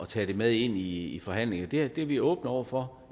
tage det med ind i i forhandlingerne vil at det er vi åbne over for